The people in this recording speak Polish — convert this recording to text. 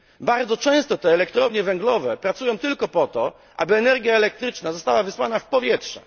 Bardzo często te elektrownie węglowe pracują tylko po to, aby energia elektryczna została wysłana w powietrze.